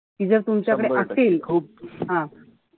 कि जर तुमच्याकडे असेल खूप हा,